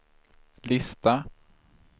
lista